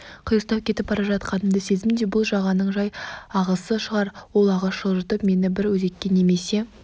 қиыстау кетіп бара жатқанымды сездім де бұл жағаның жай ағысы шығар ол ағыс жылжытып мені бір өзекке немесе